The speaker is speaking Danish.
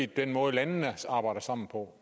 den måde landene arbejder sammen på